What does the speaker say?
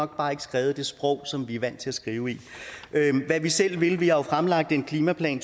bare ikke skrevet i det sprog som vi er vant til at skrive i hvad vi selv vil vi har jo fremlagt en klimaplan